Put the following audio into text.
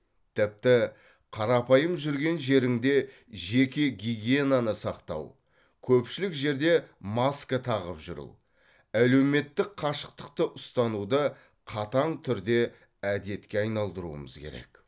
тіпті қарапайым жүрген жеріңде жеке гигиенаны сақтау көпшілік жерде маска тағып жүру әлеуметтік қашықтықты ұстануды қатаң түрде әдетке айналдыруымыз керек